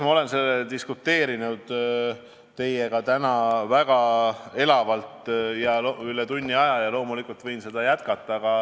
Ma olen sellel teemal diskuteerinud teiega täna väga elavalt üle tunni aja ja loomulikult võin seda jätkata.